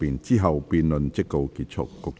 之後辯論即告結束。